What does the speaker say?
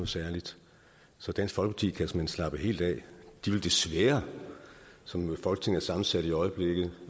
særligt så dansk folkeparti kan såmænd slappe helt af de vil desværre som folketinget er sammensat i øjeblikket